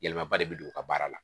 Yɛlɛmaba de bɛ don u ka baara la